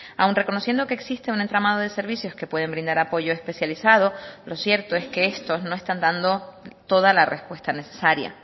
aun reconociendo que existe un entramado de servicios que pueden brindar apoyo especializado lo cierto es que estos no están dando toda la respuesta necesaria